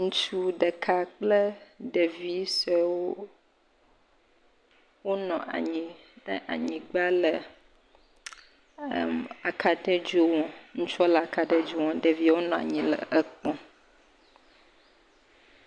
Ŋutsu ɖeka kple ɖevi suɛwo wonɔ anyi ɖe anyigba le ɛɛm le aka ɖe dzo me, ŋutsuɔ le aka ɖe dzo me ɖevio nɔanyi le ekpɔ.